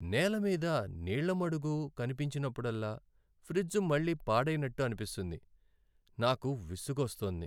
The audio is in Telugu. నేలమీద మీద నీళ్ళ మడుగు కనిపించినప్పుడల్లా, ఫ్రిజ్ మళ్ళీ పాడైనట్టు అనిపిస్తుంది. నాకు విసుగొస్తోంది.